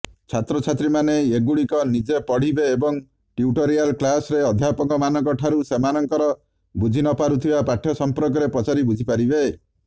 ଛାତ୍ରଛାତ୍ରୀମାନେ ଏଗୁଡିକ ନିଜେ ପଢିବେଏବଂ ଟ୍ୟୁଟୋରିଆଲ୍ କ୍ଲାସ୍ରେ ଅଧ୍ୟାପକମାନଙ୍କ ଠାରୁ ସେମାନଙ୍କର ବୁଝିନପାରୁଥିବା ପାଠ୍ୟ ସଂପର୍କର୍ରେ ପଚାରି ବୁଝିପାରିବେ